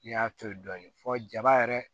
N y'a to yen dɔɔni fɔ jaba yɛrɛ